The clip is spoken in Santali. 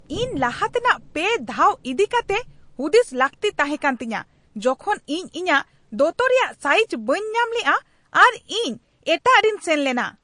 ᱤᱧ ᱞᱟᱦᱟᱛᱮᱱᱟᱜ ᱯᱮ ᱫᱷᱟᱣ ᱤᱫᱤ ᱠᱟᱛᱮᱜ ᱦᱩᱫᱤᱥ ᱞᱟᱹᱠᱛᱤ ᱛᱟᱦᱮᱸᱠᱟᱱ ᱛᱤᱧᱟᱹ ᱡᱚᱠᱷᱚᱱ ᱤᱧ ᱤᱧᱟᱹᱜ ᱫᱚᱛᱚ ᱨᱮᱭᱟᱜ ᱥᱟᱭᱤᱡᱽ ᱵᱟᱹᱧ ᱧᱟᱢ ᱞᱮᱜᱼᱟ ᱟᱨ ᱤᱧ ᱮᱴᱟᱜ ᱨᱤᱧ ᱥᱮᱱ ᱞᱮᱱᱟ ᱾ (ᱤᱧ)